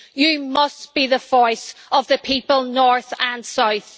You must be the voice of the people, north and south.